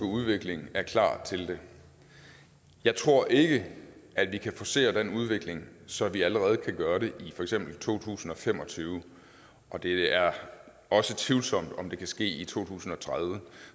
udvikling er klar til det jeg tror ikke at vi kan forcere den udvikling så vi allerede kan gøre det i for eksempel to tusind og fem og tyve og det er også tvivlsomt om det kan ske i to tusind og tredive